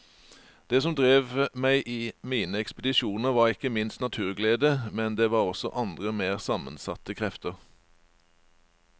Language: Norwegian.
Det som drev meg i mine ekspedisjoner var ikke minst naturglede, men det var også andre mer sammensatte krefter.